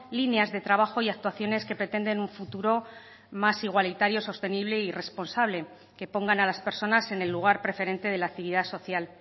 líneas de trabajo y actuaciones que pretenden un futuro más igualitario sostenible y responsable que pongan a las personas en el lugar preferente de la actividad social